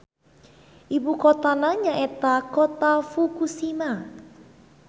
Ibukotana nyaeta Kota Fukushima.